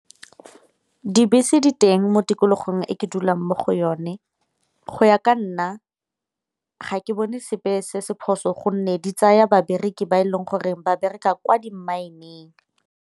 Dibese di teng mo tikologong e ke dulang mo go yone, go ya ka nna ga ke bone sepe se se phoso gonne di tsaya babereki ba e leng gore ba bereka kwa di-mine-ng.